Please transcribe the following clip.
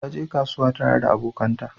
Ta je kasuwa tare da abokanta.